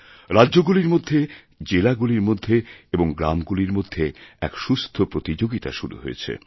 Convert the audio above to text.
রাজ্যগুলিরমধ্যে জেলাগুলির মধ্যে এবং গ্রামগুলির মধ্যে এক সুস্থ প্রতিযোগিতা শুরু হয়েছে